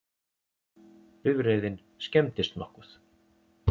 Bifreiðin skemmdist nokkuð